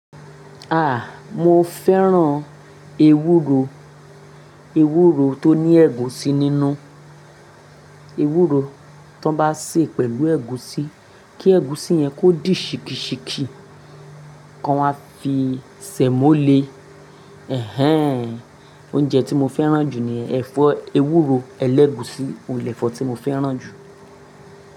Ah! Mo fẹ́ràn ewúro, ewúro tó ní ẹ̀gúsí nínú. Ewúro ti won bá sè pẹ̀lú ẹ̀gúsí, kí ẹ̀gúsí yẹn kó dì ṣíkì ṣíkì kan wá fi semó lè. Ẹ̀hẹn! Oúnjẹ tí mo fẹ́ràn jù ni ẹ̀fọ́ ewúro ẹlẹ́gùsí, oun ni èfọ́ tí mo fẹ́ràn jù.